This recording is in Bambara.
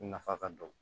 Nafa ka bon